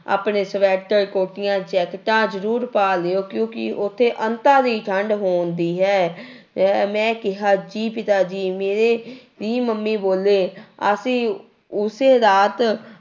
ਆਪਣੇ ਸਵੈਟਰ, ਕੋਟੀਆਂ, ਜੈਕਟਾਂ ਜ਼ਰੂਰ ਪਾ ਲਇਓ ਕਿਉੁਂਕਿ ਉੱਥੇ ਅੰਤਾਂ ਦੀ ਠੰਢ ਹੁੰਦੀ ਹੈ ਅਹ ਮੈਂ ਕਿਹਾ ਜੀ ਪਿਤਾ ਜੀ ਮੇਰੇ ਵੀ ਮੰਮੀ ਬੋਲੇ ਅਸੀਂ ਉਸੇ ਰਾਤ